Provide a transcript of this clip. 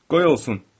Qoy olsun.